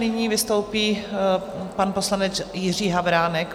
Nyní vystoupí pan poslanec Jiří Havránek.